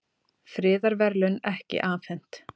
Friðarverðlaun ekki afhent